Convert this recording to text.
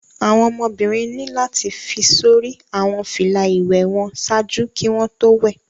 Awọn ọmọbirin ni lati fi sori awọn fila iwẹ wọn ṣaaju ki wọn to wẹ